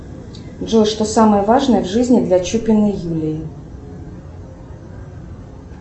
джой что самое важное в жизни для чупиной юлии